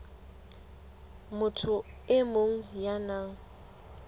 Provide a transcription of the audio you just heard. motho e mong ya nang